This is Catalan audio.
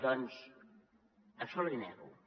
doncs això l’hi nego